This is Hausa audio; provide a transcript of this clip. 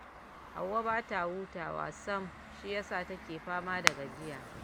Hauwa ba ta hutawa sam, shi ya sa take fama da gajiya